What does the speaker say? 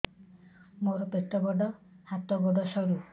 ମୋର ପେଟ ବଡ ହାତ ଗୋଡ ସରୁ